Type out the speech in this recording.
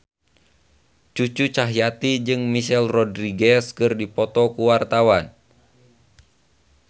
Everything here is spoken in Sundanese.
Cucu Cahyati jeung Michelle Rodriguez keur dipoto ku wartawan